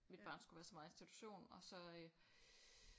Mit barn skulle være så meget i institution og så øh